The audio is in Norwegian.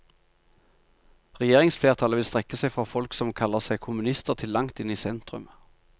Regjeringsflertallet vil strekke seg fra folk som kaller seg kommunister til langt inn i sentrum.